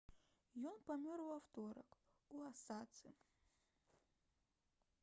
ён памёр у аўторак у осацы